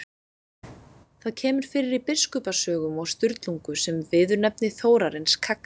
Það kemur fyrir í Biskupasögum og Sturlungu sem viðurnefni Þórarins kagga.